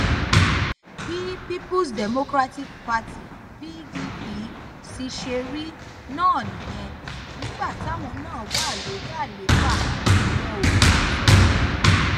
bí peoples democratic party pdp sì ṣe rí náà nìyẹn nígbà táwọn náà wà lórí àlééfà wọn ò yàtọ